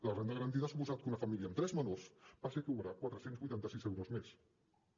la renda garantida ha suposat que una família amb tres menors passi a cobrar quatre cents i vuitanta sis euros mes